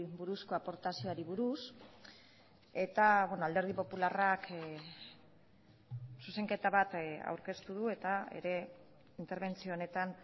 buruzko aportazioari buruz eta alderdi popularrak zuzenketa bat aurkeztu du eta ere interbentzio honetan